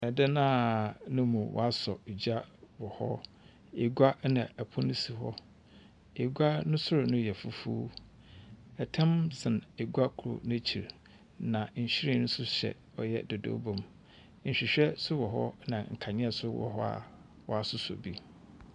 Dan a no mu wɔasɔ gya wɔ hɔ, egua na pon si hɔ, egua no sor no yɛ fufuw, tam san egua kor n’ekyir, nhyiren so hyɛ dodooba mu. Nhwehwɛ so wɔ hɔ na nkandzea so wɔ hɔ a wɔasosɔ bi.